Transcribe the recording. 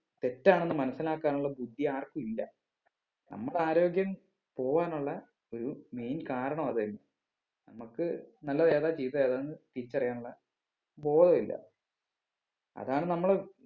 തെറ്റാണ് എന്ന് മനസ്സിലാക്കാനുള്ള ബുദ്ധി ആർക്കും ഇല്ല നമ്മക്ക് ആരോഗ്യം പോവാനുള്ള ഒരു main കാരണം അത് തന്നെ നമ്മക്ക് നല്ലത് ഏതാ ചീത്ത ഏതാന്ന് തിരിച്ച് അറിയാനുള്ള ബോധം ഇല്ല അതാണ് നമ്മള്